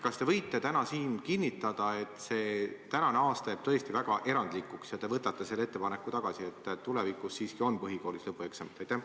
Kas te võite täna siin kinnitada, et see aasta jääb tõesti väga erandlikuks ja te võtate selle ettepaneku tagasi, nii et tulevikus on siiski ka põhikoolis lõpueksamid?